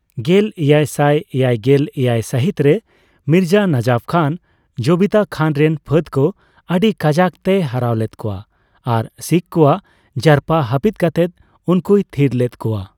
ᱜᱮᱞᱮᱭᱟᱭᱥᱟᱭ ᱮᱭᱟᱭᱜᱮᱞ ᱮᱭᱟᱭ ᱥᱟᱹᱦᱤᱛ ᱨᱮ ᱢᱤᱨᱡᱟ ᱱᱟᱡᱟᱯᱷ ᱠᱷᱟᱱ ᱡᱚᱵᱤᱛᱟ ᱠᱷᱟᱱ ᱨᱮᱱ ᱯᱷᱟᱹᱫᱽ ᱠᱚ ᱟᱹᱰᱤ ᱠᱟᱡᱟᱠ ᱛᱮᱭ ᱦᱟᱨᱟᱣ ᱞᱮᱫ ᱠᱚᱣᱟ ᱟᱨ ᱥᱤᱠᱷ ᱠᱚᱣᱟᱜ ᱡᱟᱨᱯᱟ ᱦᱟᱯᱤᱫ ᱠᱟᱛᱮ ᱩᱱᱠᱩᱭ ᱛᱷᱤᱨ ᱞᱮᱫ ᱠᱚᱣᱟ ᱾